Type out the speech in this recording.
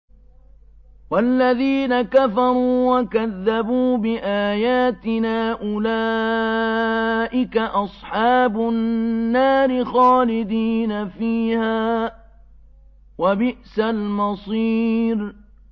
وَالَّذِينَ كَفَرُوا وَكَذَّبُوا بِآيَاتِنَا أُولَٰئِكَ أَصْحَابُ النَّارِ خَالِدِينَ فِيهَا ۖ وَبِئْسَ الْمَصِيرُ